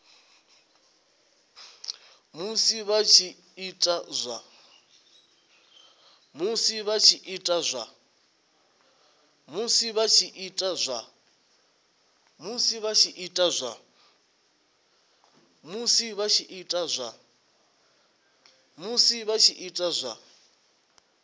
musi vha tshi ita zwa